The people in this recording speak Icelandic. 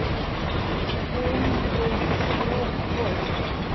Hún er svo góð.